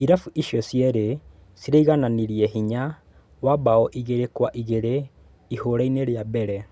Irabu icio cierĩ ciraigananirie hinya wa mbao igĩrĩ kwa igĩrĩ ihũrainĩ ria mbere.